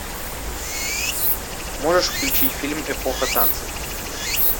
можешь включить фильм эпоха танцев